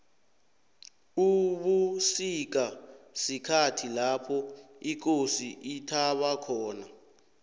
ubusika sikhathi lapho ikosi ithaba khona